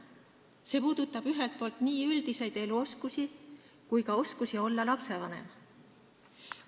See puudutab nii üldiseid eluoskusi kui ka oskusi olla lapsevanem.